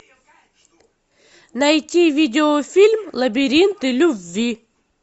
найти видеофильм лабиринты любви